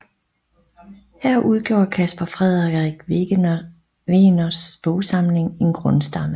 Her udgjorde Caspar Frederik Wegeners bogsamling en grundstamme